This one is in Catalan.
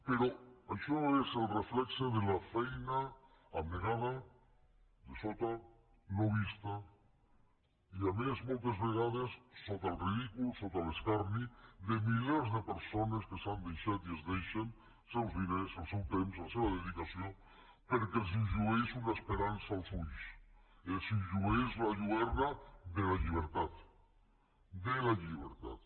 però això és el reflex de la feina abnegada de sota no vista i a més moltes vegades sota el ridícul sota l’escarni de milers de persones que s’han deixat i es deixen els seus diners el seu temps la seva dedicació perquè els llueix una esperança als ulls els llueix la lluerna de la llibertat de la llibertat